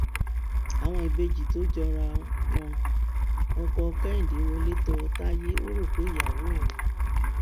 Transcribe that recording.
àwọn ìbejì tó jọra wọ ọkọ kẹhìndé wọlé tọ táyé ò rò pé ìyàwó òun ni